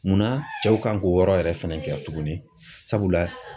Munna cɛw kan k'o yɔrɔ yɛrɛ fɛnɛ kɛ tuguni sabula.